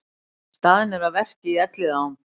Staðnir að verki í Elliðaám